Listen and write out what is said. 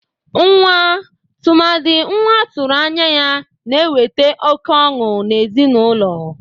Nwa, tụmadị nwa atụrụ anya ya, na-ewete oke ọnụ n'ezinaụlọ.